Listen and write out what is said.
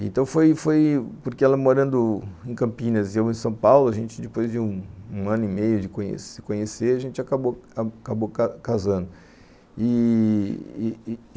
Então foi foi porque ela morando em Campinas e eu em São Paulo, a gente depois de um ano e meio de se conhecer, a gente acabou casando.